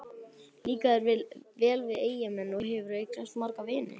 Líkar þér vel við Eyjamenn og hefurðu eignast marga vini?